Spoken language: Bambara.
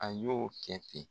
A y'o kɛ ten.